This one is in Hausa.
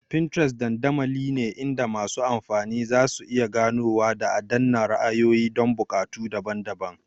Pinterest dandamali ne inda masu amfani zasu iya ganowa da adana ra'ayoyi don buƙatu daban-daban.